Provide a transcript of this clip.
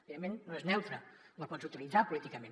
evidentment no és neutra la pots utilitzar políticament